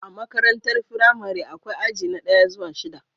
A makarantar firamare akwai aji na daya zuwa shida